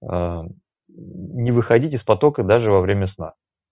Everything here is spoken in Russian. а не выходить из потока даже во время сна